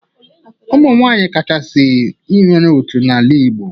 Ụmụ nwaanyị kachasị nwere otu n'ala Igbo.